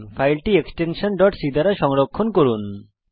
ফাইলটি extension c দ্বারা সংরক্ষণ করুন